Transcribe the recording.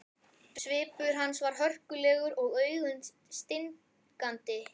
Svipur hans var hörkulegur og augun stingandi.